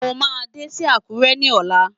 Mo máa dé sí Àkúrẹ́ ní ọ̀la.